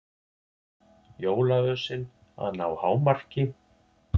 Jólaösin að ná hámarki